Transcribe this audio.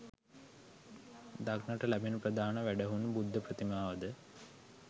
දක්නට ලැබෙන ප්‍රධාන වැඩහුන් බුද්ධ ප්‍රතිමාව ද